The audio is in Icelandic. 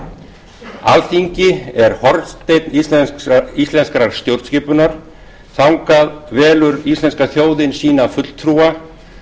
stjórnvöldum alþingi er hornsteinn íslenskrar stjórnskipunar þangað velur íslenska þjóðin sína fulltrúa